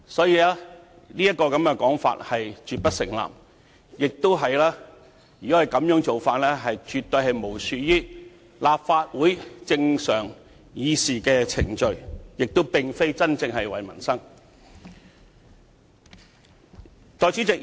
因此，這種說法絕不成立，而這種做法更是完全漠視立法會正常的議事程序，並非真正為民生出發。